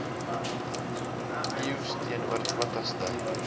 eeus teenoor twintigste